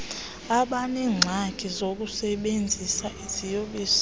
abaneengxaki zokusebenzisa iziyobisi